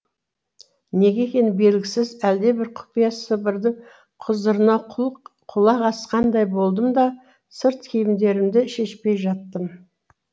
неге екені белгісіз әлдебір құпия сыбырдың құзырына құлақ асқандай болдым да сырт киімдерімді шешпей жаттым